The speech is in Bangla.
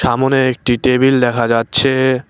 সামোনে একটি টেবিল দেখা যাচ্ছে।